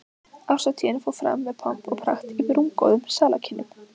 Árshátíðin fór fram með pomp og prakt í rúmgóðum salarkynnum